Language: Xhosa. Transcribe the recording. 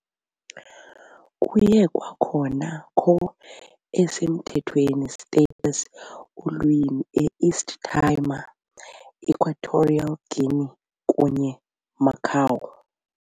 Kuye kwakhona co-esemthethweni status ulwimi e East Timor, Equatorial Guinea kunye Macau.